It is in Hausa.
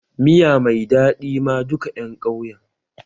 Miya mai daɗi ma duka ƴan ƙauyen.